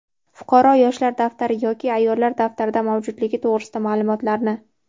fuqaro "Yoshlar daftari" yoki "Ayollar daftari"da mavjudligi to‘g‘risida maʼlumotlarni;.